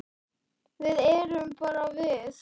Við erum bara við